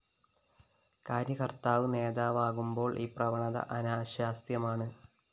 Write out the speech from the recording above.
കാര്യകര്‍ത്താവ് നേതാവാകുമ്പോള്‍ ഈ പ്രവണത അനാശാസ്യമാണ്